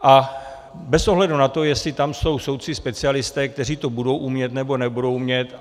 A bez ohledu na to, jestli tam jsou soudci specialisté, kteří to budou umět, nebo nebudou umět.